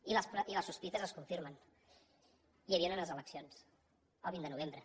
i les sospites es confirmen hi havien unes eleccions el vint de novembre